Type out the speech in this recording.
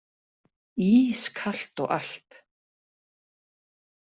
Ískalt og allt.